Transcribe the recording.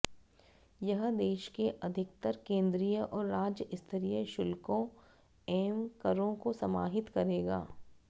यह देश के अधिकतर केंद्रीय और राज्य स्तरीय शुल्कों एवं करों को समाहित करेगा